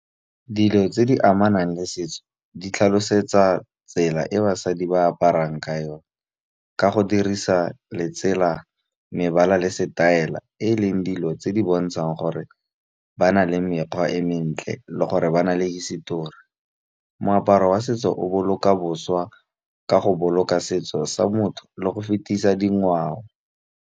Dilo tse di amanang le setso di tlhalosetsa tsela e basadi ba aparang ka yone ka go dirisa letsela, mebala le setaela e leng dilo tse di bontshang gore ba na le mekgwa e mentle le gore ba na le hisetori. Moaparo wa setso o boloka boswa ka go boloka setso sa motho le go fetisa dingwao.